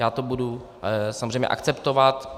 Já to budu samozřejmě akceptovat.